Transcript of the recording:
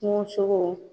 Kungosogo